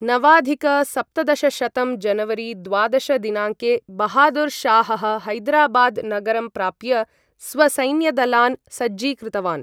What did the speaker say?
नवाधिक सप्तदशशतं जनवरी द्वादश दिनाङ्के, बहादुर् शाहः हैदराबाद् नगरं प्राप्य स्वसैन्यदलान् सज्जीकृतवान्।